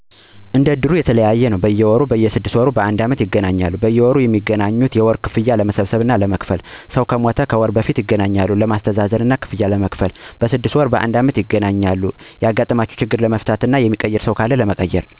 እንድሩ ይለያያሉ፦ በየወሩ፣ በየ 6 ወር እና ባንድ አመት ይገናኛሉ። በየወሩ ሚገናኙት ወርሃዊ ክፍያ ለመሠብሰብ እና ለመክፈል ነው። ሰው ከሞተም ከወር በፊት ይገናኛሉ ለማሥተዛዘን እና ብር ለመክፈል። በየ 6ወር ወይም ባንድ አመት ሢገናኙ ደግሞ ያጋጠሙ ችግሮችን ለመወያየት፣ ሚቀየር ሰው ካለም ለመቀየር፣ የብር ጭማሪ ካለም ተወያይቶ ለመጨመር ይገናኛሉ ማለት ነው